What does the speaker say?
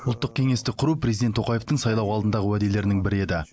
ұлттық кеңесті құру президент қасым жомарт тоқаевтың сайлау алдындағы уәделерінің бірі еді